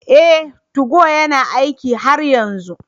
Ee, 2go yana aiki har yanzu